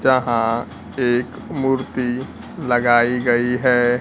जहां एक मूर्ति लगाई गई हैं।